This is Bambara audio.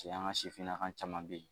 Cɛ an ka sifinnaka caman bɛ yen